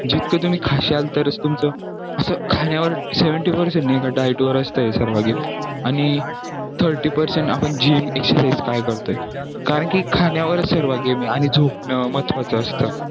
जितका तुम्ही खाशाल तरच तुमचं खाण्यावर seventy percent diet वर असतं आणि thirty percent आपण gym exercise काय करतोय कारण खाण्यावरच सर्वा game आहे आणि झोपणं महत्त्वाचं असतं